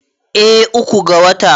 eh uku ga wata